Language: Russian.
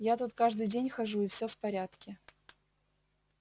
я тут каждый день хожу и все в порядке